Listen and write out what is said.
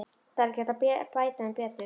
Það er ekki hægt að bæta um betur.